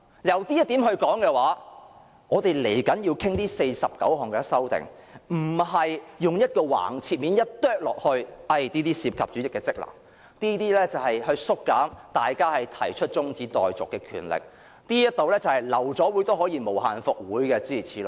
就這一點而言，我們稍後要討論的49項修訂，不應簡單地切割為這些涉及主席的職能，這些會削減大家提出中止待續議案的權力，這些是關於流會也可以無限復會，諸如此類。